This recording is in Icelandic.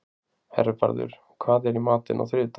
Hervarður, hvað er í matinn á þriðjudaginn?